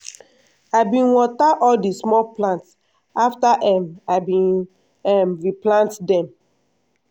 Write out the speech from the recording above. i bin water all di small plant afta um i bin um replant dem.